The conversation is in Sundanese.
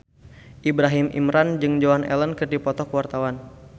Ibrahim Imran jeung Joan Allen keur dipoto ku wartawan